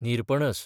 निरपणस